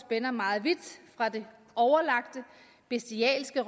endog meget vidt fra det overlagte bestialske